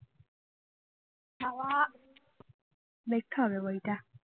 দেখতে হবে বইটা